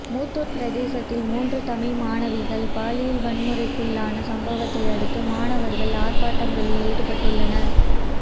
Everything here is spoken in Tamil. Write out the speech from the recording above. மூதூர் பிரதேசத்தில் மூன்று தமிழ் மாணவிகள் பாலியல் வன்முறைக்குள்ளான சம்பவத்தையடுத்து மாணவர்கள் ஆர்ப்பாட்டங்களில் ஈடுபட்டுள்ளனர்